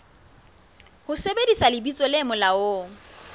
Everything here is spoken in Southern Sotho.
ho sebedisa lebitso le molaong